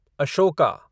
Ashoka